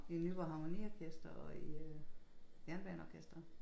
I Nyborg harmoniorkestret og i øh Jernbaneorkestret